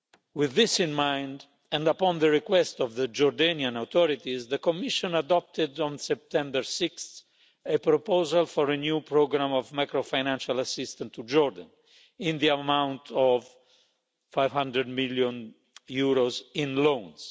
With this in mind, and upon the request of the Jordanian authorities, the Commission adopted on 6 September a proposal for a new programme of macro financial assistance to Jordan in the amount of EUR 500 million in loans.